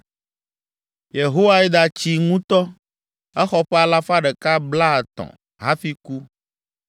Yehoiada tsi ŋutɔ, exɔ ƒe alafa ɖeka blaetɔ̃ (130) hafi ku.